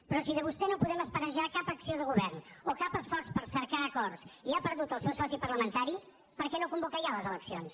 però si de vostè no podem esperar ja cap acció de govern o cap esforç per cercar acords i ha perdut el seu soci parlamentari per què no convoca ja les eleccions